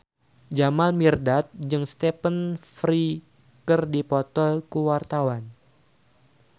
Jamal Mirdad jeung Stephen Fry keur dipoto ku wartawan